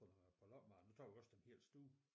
På noget på loppemarked nu tager vi også den helt store